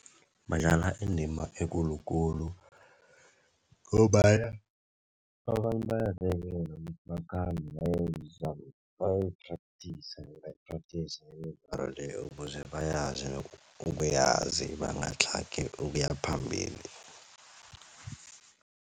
Badlala indima ekulukulu ngombana abantu bakhambe bayoyi-practice bebayi-practice imidlalo leyo ukuze bayazi ukuyazi bangatlhagi ukuyaphambili.